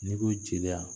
N'i ko jeliya